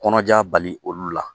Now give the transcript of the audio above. Kɔnɔja bali olu la